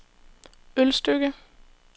Ølstykke